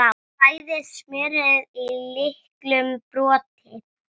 Bræðið smjörið í litlum potti.